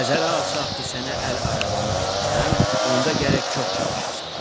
“Nəzərə alsaq ki, sənə əl arabamı verəcəm, onda gərək çox çalışasan.